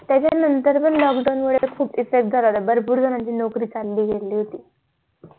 त्याच्या नंतर पण lockdown मुळे खूप effect झालेला भरपूर लोकांना नोकरी चाली गेली होती